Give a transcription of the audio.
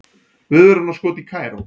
Viðvörunarskot í Kaíró